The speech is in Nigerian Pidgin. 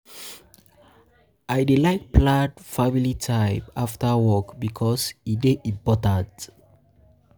I dey like plan um family time after work um bikos um e dey important.